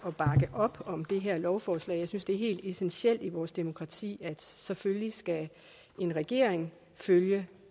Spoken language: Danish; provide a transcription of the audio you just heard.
op om det her lovforslag jeg synes det er helt essentielt i vores demokrati at selvfølgelig skal en regering følge